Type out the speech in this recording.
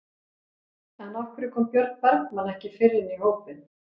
En af hverju kom Björn Bergmann ekki fyrr inn í hópinn?